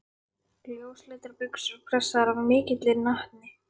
Ljósleitar buxur pressaðar af mikilli natni.